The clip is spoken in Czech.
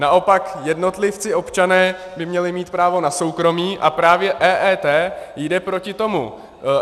Naopak jednotlivci, občané by měli mít právo na soukromí a právě EET jde proti tomu.